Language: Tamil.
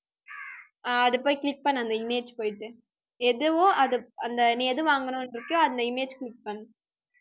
அதை போய் click பண்ணு, அந்த image போயிட்டு. எதுவோ அது அந்த நீ எது வாங்கணுன்னு இருக்கியோ அந்த image click பண்ணு